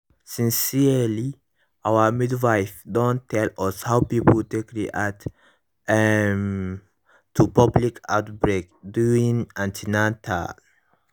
sincerely our midwife don tell us how people take react um to public outbreak during an ten atal